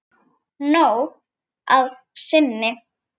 Nóg að sinni.